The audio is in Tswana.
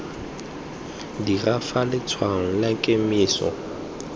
dira fa letshwaong la kemiso